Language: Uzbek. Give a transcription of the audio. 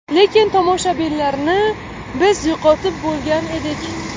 Lekin tomoshabinlarni biz yo‘qotib bo‘lgan edik.